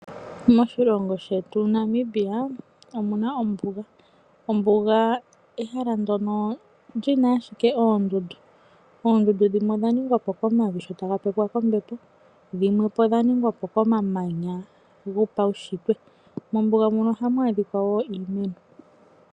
Moshilongo shetu Namibia omuna Ombuga. Ombuga ehala ndyono lina ashike oondundu. Oondundu dhimwe odha ningwapo komavi sho taga pepwapo kombepo dhimwe odha ningwa po komamanya gopawushitwe. Mombuga muno ohamu adhika woo iimeno.